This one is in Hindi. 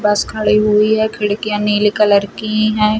बस खड़ी हुई है खड़िकियाँ नीली कलर की है।